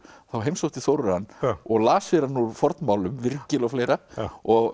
þá heimsótti Þórir hann og las fyrir hann úr fornmálum Virgil og fleira og